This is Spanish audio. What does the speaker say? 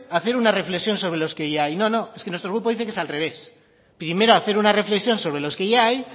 hacer una reflexión sobre los que ya hay no no si nuestro grupo dice que es al revés primero hacer una reflexión sobre lo que ya hay